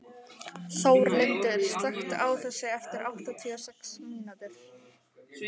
Þórlindur, slökktu á þessu eftir áttatíu og sex mínútur.